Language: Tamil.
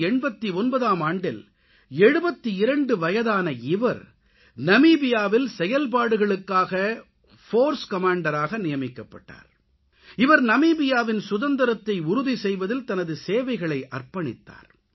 1989ஆம் ஆண்டில் 72 வயதான இவரை நமீபியாவில் செயல்பாடுகளுக்காக படைப்பிரிவு கமாண்டராக போர்ஸ் கமாண்டர் நியமிக்கப்பட்டார் இவர் நமீபியாவின் சுதந்திரத்தை உறுதி செய்வதில் தனது சேவைகளை அர்ப்பணித்தார்